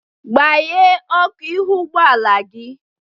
Gbanye ọkụ ihu ụgbọala gị!